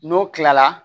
N'o kilala